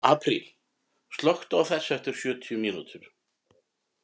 Apríl, slökktu á þessu eftir sjötíu mínútur.